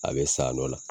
A bɛ sa nɔ